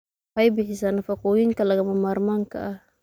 Waxay bixisaa nafaqooyinka lagama maarmaanka ah.